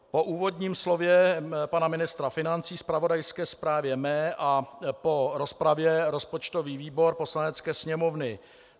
Po úvodním slově pana ministra financí, zpravodajské zprávě mé a po rozpravě rozpočtový výbor Poslanecké sněmovny: